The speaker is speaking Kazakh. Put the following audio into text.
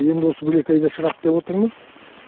енді осы бөлек айда шығады деп отырмыз